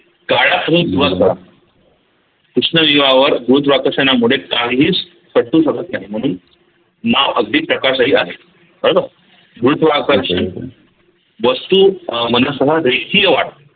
कृष्णविवार गुरुत्वाकर्षणामुळे काहीच शकत नाही म्हणून माप अगदी प्रकाश ही आहे कळल? वस्तू अह मनासमोर